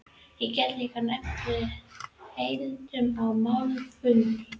Ég get líka nefnt að við héldum oft málfundi.